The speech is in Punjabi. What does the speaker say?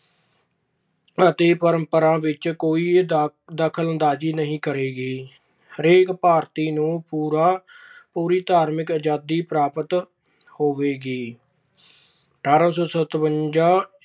ਪ੍ਰਤੀ ਪਰੰਪਰਾ ਵਿੱਚ ਕੋਈ ਦਖਲਅੰਦਾਜੀ ਨਹੀਂ ਕਰੇਗੀ। ਹਰੇਕ ਭਾਰਤੀ ਨੂੰ ਪੂਰੀ ਧਾਰਮਿਕ ਆਜਾਦੀ ਹੋਵੇਗੀ। ਅਠਾਰਾਂ ਸੌ ਸਤਵੰਜਾ